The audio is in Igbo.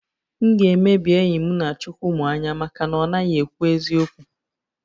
M ga-emebi enyi m Chukwumuanya maka na ọ naghị ekwu eziokwu